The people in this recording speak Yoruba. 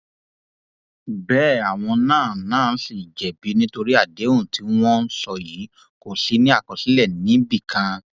bẹẹ àwọn náà náà ṣì jẹbi nítorí àdéhùn tí wọn ń sọ yìí kò sì ní àkọsílẹ níbì kan